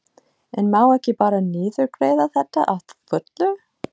En má ekki bara niðurgreiða þetta að fullu?